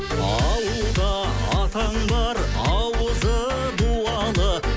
ауылда атаң бар ауызы дуалы